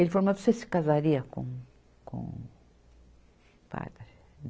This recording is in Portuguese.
Ele falou, mas você se casaria com, com padre?